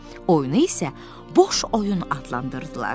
Oyunu isə boş oyun adlandırdılar.